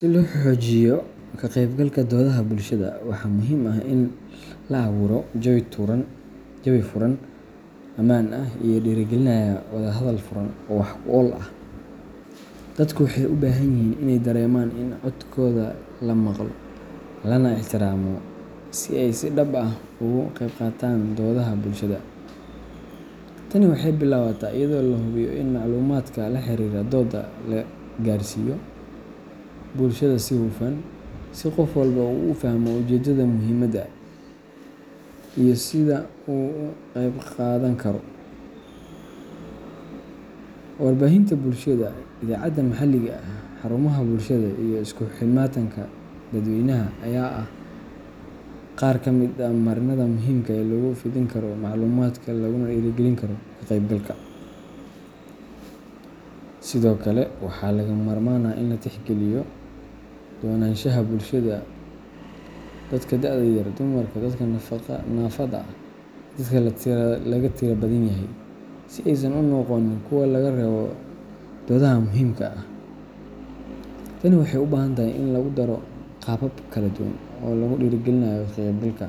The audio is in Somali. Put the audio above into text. Si loo xoojiyo ka qeybgalka doodaha bulshada, waxaa muhiim ah in la abuuro jawi furan, ammaan ah, iyo dhiirrigelinaya wada hadal furan oo wax ku ool ah. Dadku waxay u baahan yihiin in ay dareemaan in codkooda la maqlo, lana ixtiraamo, si ay si dhab ah uga qeybqaataan doodaha bulshada. Tani waxay bilaabataa iyadoo la hubiyo in macluumaadka la xiriira dooda la gaarsiiyo bulshada si hufan, si qof walba uu u fahmo ujeedada, muhiimadda, iyo sida uu uga qeybqaadan karo. Warbaahinta bulshada, idaacadaha maxalliga ah, xarumaha bulshada, iyo isku imaatinka dadweynaha ayaa ah qaar ka mid ah marinada muhiimka ah ee lagu fidin karo macluumaadka laguna dhiirrigelin karo ka qeybgalka. Sidoo kale, waxaa lagama maarmaan ah in la tixgeliyo kala duwanaanshaha bulshada dadka da'da yar, dumarka, dadka naafada ah, iyo dadka laga tirada badan yahay si aysan u noqon kuwo laga reebo doodaha muhiimka ah. Tani waxay u baahan tahay in lagu daro qaabab kala duwan oo lagu dhiirrigeliyo ka qeybgalka,